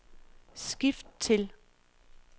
skift til